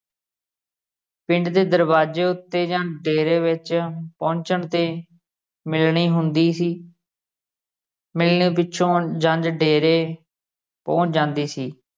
ਪਿੰਡ ਦੇ ਦਰਵਾਜੇ ਉੱਤੇ ਜਾਂ ਡੇਰੇ ਵਿਚ ਪੁਹੰਚਣ ਤੇ ਮਿਲਣੀ ਹੁੰਦੀ ਸੀ ਮਿਲਣੀ ਪਿੱਛੋਂ ਜੰਝ ਡੇਰੇ ਪੁਹੰਚ ਜਾਂਦੀ ਸੀ।